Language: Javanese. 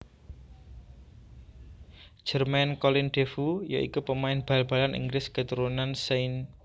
Jermain Colin Defoe ya iku pemain bal balan Inggris keturunan St